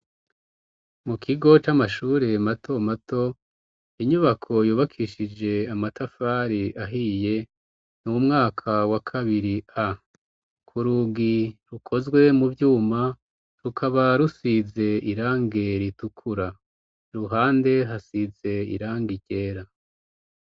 Mu kigo c'amashure mato mato, inyubako yubakishije amatafari ahiye, mu mwaka wa kabiri A. Ku rugi rukozwe mu vyuma, rukaba rusize irangi ritukura, iruhande hasize irangi ryera.